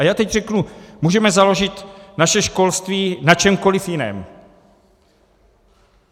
A já teď řeknu, můžeme založit naše školství na čemkoliv jiném.